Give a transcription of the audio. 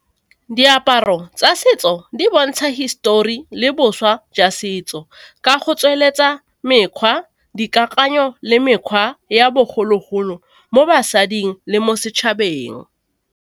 Diaparo tsa setso di bontsha hisitori le boswa jwa setso ka go tsweletsa mekgwa, dikakanyo le mekgwa ya bogologolo mo basading le mo setšhabeng.